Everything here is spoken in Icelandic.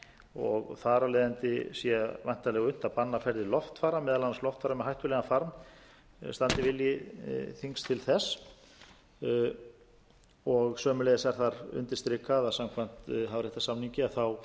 og þar af leiðandi sé væntanlega unnt að banna ferðir loftfara meðal annars loftfara með hættulegan farm standi vilji þings til þess sömuleiðis er þar undirstrikað að samkvæmt hafréttarsamningi